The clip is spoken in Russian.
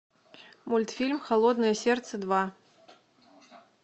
мультфильм холодное сердце два